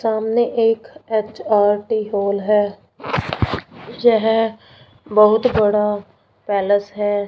सामने एक H R T hall है यह बहुत बड़ा पैलस है।